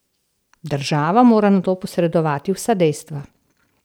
Država mora nato posredovati vsa dejstva.